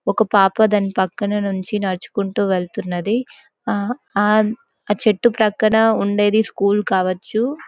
ఒక పాప దాని పక్కన నుంచి నడుచుకుంటూ వెళ్తున్నది ఆ-ఆ-చెట్టు ప్రక్కన ఉండేది స్కూల్ కావొచ్చు.